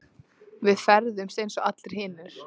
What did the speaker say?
Við ferðumst eins og allir hinir.